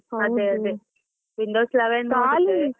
ಅದೇ~ ಅದೇ .